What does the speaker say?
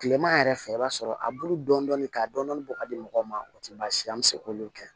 Tilema yɛrɛ fɛ i b'a sɔrɔ a bulu dɔɔnin ka dɔni bɔ ka di mɔgɔw ma o tɛ baasi ye an bɛ se k'olu kɛ